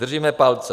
Držíme palce.